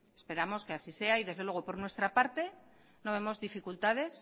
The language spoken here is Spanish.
esperamos que así sea y desde luego por nuestra parte no vemos dificultades